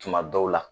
Tuma dɔw la